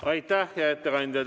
Aitäh, hea ettekandja!